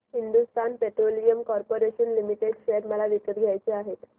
Hindustan Petroleum Corporation Limited share मला विकत घ्यायचे आहेत